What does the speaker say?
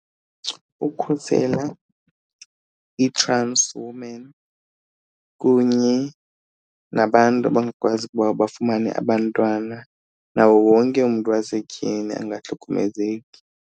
Ukhusela ii-transwomen kunye nabantu abangakwazi ukuba bafumane abantwana, nawo wonke umntu wasetyhini angahlukumezeki.